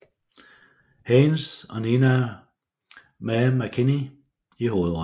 Haynes og Nina Mae McKinney i hovedrollerne